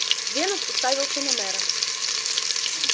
венус уставился на мэра